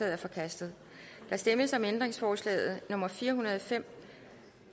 er forkastet der stemmes om ændringsforslag nummer fire hundrede og fem